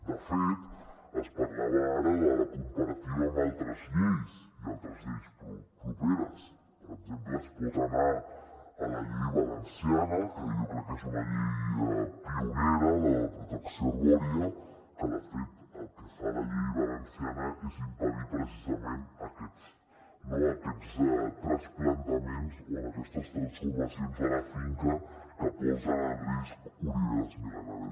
de fet es parlava ara de la comparativa amb altres lleis i altres lleis properes per exemple es pot anar a la llei valenciana que jo crec que és una llei pionera de la protecció arbòria que de fet el que fa la llei valenciana és impedir precisament aquests trasplantaments o aquestes transformacions de la finca que posen en risc oliveres mil·lenàries